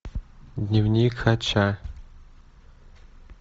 дневник хача